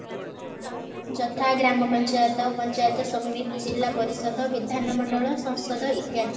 ଯଥା ଗ୍ରାମ ପଞ୍ଚାୟତ ପଞ୍ଚାୟତ ସମିତି ଜିଲ୍ଲା ପରିଷଦ ବିଧାନ ମଣ୍ଡଳ ସଂଶୋଧ ଇତ୍ୟାଦି